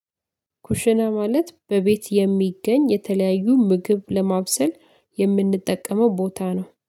ኩሽና ማለት በቤት የሚገኝ የተለያዩ ምግብ ለማብሰል የምንጠቀመው ቦታ ነው